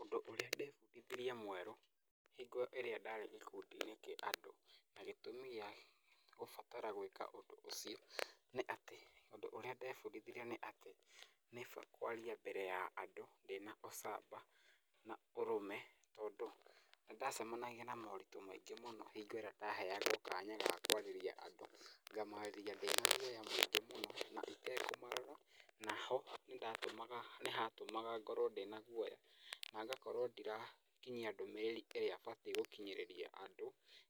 Ũndũ ũrĩa ndebundithirie mwerũ hingo ĩrĩa ndarĩ gĩkundi-inĩ kĩa andũ na gĩtũmi gĩa gũbatara gwĩka undũ ũcio nĩ atĩ ũndũ ũrĩa ndebundithirie nĩ atĩ nĩ kaba kwarĩa mbere ya andũ ndĩna ũcamba na ũrũme tondũ nĩndacemanagia na moritũ maingĩ mũno hingi ĩrĩa ndaheagwo kanya ga kwarĩria andũ, ngamarĩria ndĩna guoya mũingĩ mũno na itekũmarora. Naho nĩ ndatũmaga, nĩhatũmaga ngorwo ndĩna guoya na ngakorwo ndirakinyia ndũmĩrĩri ĩrĩa batiĩ gũkinyĩrĩria andũ